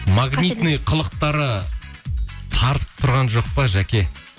магнитный қылықтары тартып тұрған жоқ па жаке